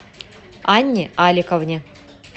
анне аликовне